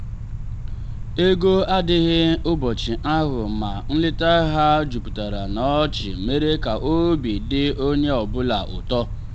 ego adịghị ụbọchị ahụ ma nleta ha juputara na ọchị mere ka obi dị onye ọ bụla ụtọ.